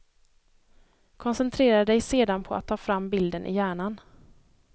Koncentrera dig sedan på att ta fram bilden i hjärnan.